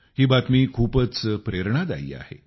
ही बातमी खूपच प्रेरणादायी आहे